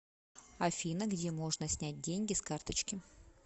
афина где можно снять деньги с карточки